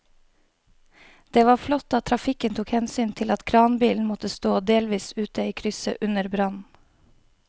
Det var flott at trafikken tok hensyn til at kranbilen måtte stå delvis ute i krysset under brannen.